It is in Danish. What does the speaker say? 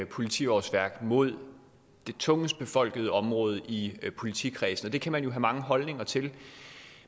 politiårsværk mod de tungest befolkede område i politikredsene og det kan man jo have mange holdninger til